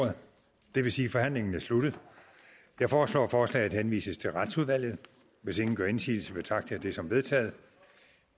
og det vil sige at forhandlingen er sluttet jeg foreslår at forslaget henvises til retsudvalget hvis ingen gør indsigelse betragter jeg det som vedtaget